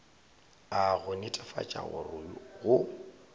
a go netefatša gore go